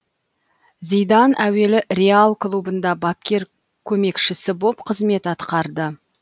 зидан әуелі реал клубында бапкер көмекшісі боп қызмет атқарды